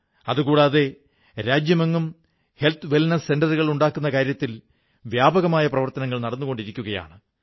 അതുകൂടാതെ രാജ്യമെങ്ങും ആരോഗ്യ സൌഖ്യ കേന്ദ്രങ്ങൾ ഉണ്ടാക്കുന്ന കാര്യത്തിൽ വ്യാപകമായ പ്രവർത്തനങ്ങൾ നടന്നുകൊണ്ടിരിക്കുകയാണ്